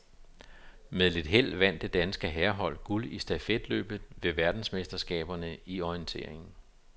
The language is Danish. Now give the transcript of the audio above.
Med lidt held vandt det danske herrehold guld i stafetløbet ved verdensmesterskaberne i orientering.